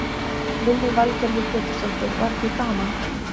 Lillý Valgerður Pétursdóttir: Var ekki gaman?